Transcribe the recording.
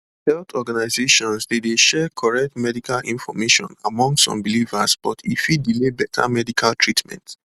health organizations dey dey share correct medical information among some believers but e fit delay better medical treatment